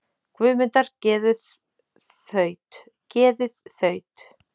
Guðmundar geðið þaut, geðið þaut.